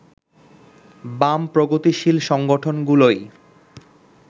বাম-প্রগতিশীল সংগঠনগুলোই